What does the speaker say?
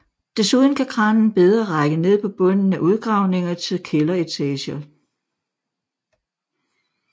Desuden kan kranen bedre række ned på bunden af udgravninger til kælderetager